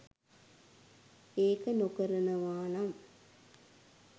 ඒක නොකරනවානම්